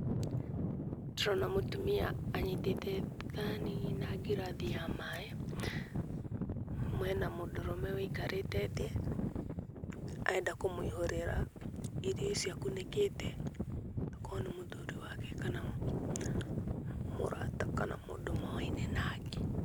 Ndĩrona mũtumia anyitĩte thani na ngirathi ya maaĩ. Mena mũndũrũme ũikarĩte thĩ, arenda kũmũihũrĩra irio icio akunĩkĩte tokorwo nĩ mũthuri wake kana mũrata kana mũndũ moaine nake.